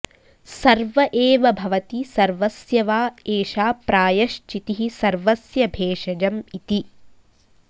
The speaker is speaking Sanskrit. सर्व एव भवति सर्वस्य वा एषा प्रायश्चितिः सर्वस्य भेषजम इति